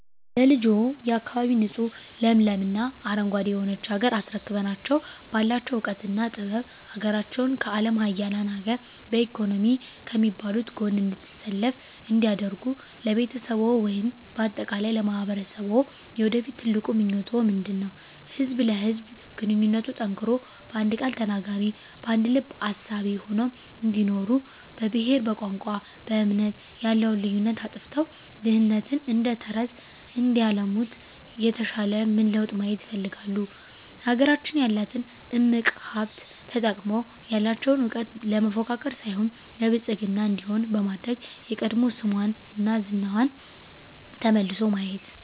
ለልጆችዎ፣ የአካባቢ ንፁህ ለምለም እና አረንጓዴ የሆነች ሀገር አስረክበናቸው ባላቸው እውቀትና ጥበብ ሀገራቸውን ከአለም ሀያላን ሀገር በኢኮኖሚ ከሚባሉት ጎን እንድትሰለፍ እንዲያደርጉ ለቤተሰብዎ ወይም በአጠቃላይ ለማህበረሰብዎ የወደፊት ትልቁ ምኞቶ ምንድነው? ህዝብ ለህዝብ ግንኙነቱ ጠንክሮ በአንድ ቃል ተናጋሪ በአንድ ልብ አሳቢ ሆነው እንዲኖሩ በብሄር በቋንቋ በእምነት ያለውን ልዩነት አጥፍተው ድህነትን እደተረተረት እንዲያለሙት የተሻለ ምን ለውጥ ማየት ይፈልጋሉ? ሀገራችን ያላትን እምቅ ሀብት ተጠቅመው ያለቸውን እውቀት ለመፎካከር ሳይሆን ለብልፅግና እንዲሆን በማድረግ የቀድሞ ስሟና ዝናዋ ተመልሶ ማየት